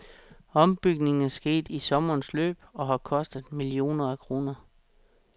Ombygningen er sket i sommerens løb og har kostet millioner af kroner.